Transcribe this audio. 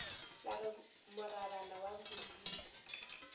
la re morabana wa bodimo